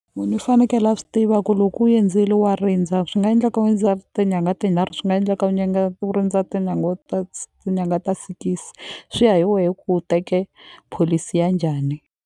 Munhu u fanekele a swi tiva ku loko u endzele wa rindza swi nga endleka tinyangha tinharhu swi nga endleka u u rindza tinyangha ta tinyangha ta sikisi swi ya hi wehe ku teke pholisi ya njhani.